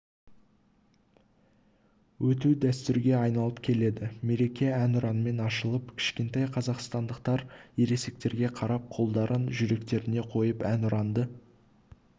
өту дәстүрге айналып келеді мереке әнұранмен ашылып кішкентай қазақстандықтар ересектерге қарап қолдарын жүректеріне қойып әнұранды